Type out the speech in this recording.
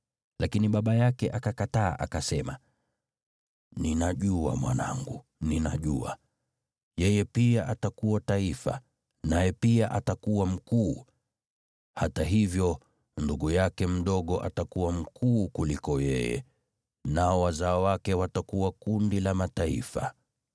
Lakini baba yake akakataa, akasema, “Ninajua, mwanangu, ninajua. Yeye pia atakuwa taifa, naye pia atakuwa mkuu. Hata hivyo, ndugu yake mdogo atakuwa mkuu kuliko yeye, nao wazao wake watakuwa kundi la mataifa.”